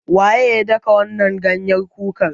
Waye ya daka wannan ganyen kukar?